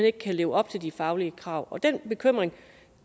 ikke kan leve op til de faglige krav og den bekymring